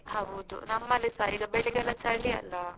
ಹೌದು ನಮ್ಮಲಿಸಾ ಈಗ ಬೆಳಿಗೆಲ್ಲ ಚಳಿ ಅಲ್ಲ.